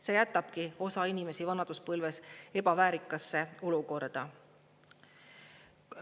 See jätabki osa inimesi vanaduspõlves ebaväärikasse olukorda.